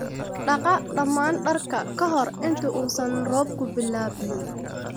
Dhaqa dhammaan dharka ka hor inta uusan roobku bilaabmin